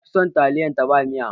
Na fi son taliya ta ba miya